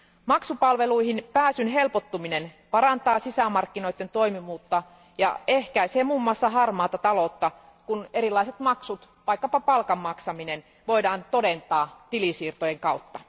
Maksupalveluihin pääsyn helpottuminen parantaa sisämarkkinoiden toimivuutta ja ehkäisee muun muassa harmaata taloutta, kun erilaiset maksut, vaikkapa palkan maksaminen, voidaan todentaa tilisiirtojen kautta.